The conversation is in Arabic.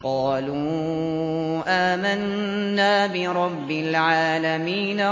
قَالُوا آمَنَّا بِرَبِّ الْعَالَمِينَ